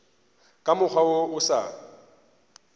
ka mokgwa wo o sa